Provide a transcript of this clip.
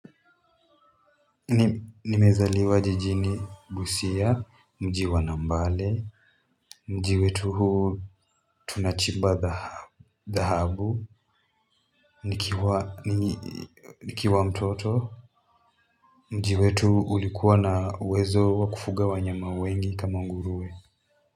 Nimezaliwa jijini busia mji wa nambaale. Mji wetu huu tunachimba dhahabu. Nikiwa mtoto mji wetu ulikuwa na uwezo wa kufuga wanyama wengi kama nguruwe.